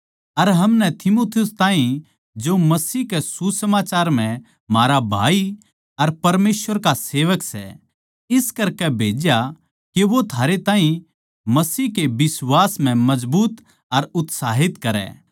अर हमनै तीमुथियुस ताहीं जो मसीह कै सुसमाचार म्ह म्हारा भाई अर परमेसवर का सेवक सै इस करकै भेज्या के वो थारै ताहीं मसीह के बिश्वास म्ह मजबूत अर उत्साहित करै